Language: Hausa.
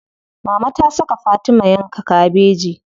Mama ta saka Fatima yanka kabeji.